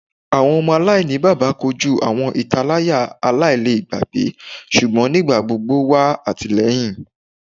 Awọn ọmọ alainibaba koju awọn italaya alailẹgbẹ ṣugbọn nigbagbogbo wa atilẹyin